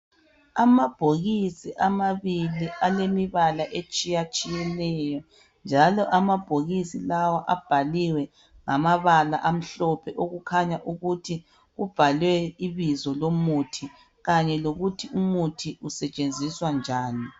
Amabhokisi amabili alemibala etshiya tshiyeneyo njalo amabhokisi lawa abhaliwe ngamabala amhlophe okukhanya ukuthi kubhalwe ibizo lomuthi kanye lokuthi umuthi usetshenziswa njani.